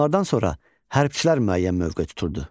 Onlardan sonra hərbçilər müəyyən mövqe tuturdu.